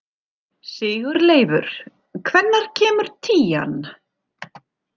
Sigurleifur, hvenær kemur tían?